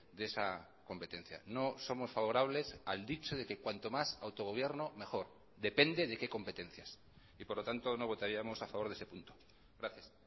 de esa competencia no somos favorables al dicho de que cuanto más autogobierno mejor depende de qué competencias y por lo tanto no votaríamos a favor de ese punto gracias